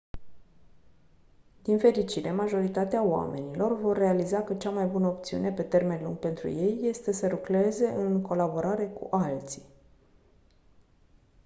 din fericire majoritatea oamenilor vor realiza că cea mai bună opțiune pe termen lung pentru ei este să lucreze în colaborare cu alții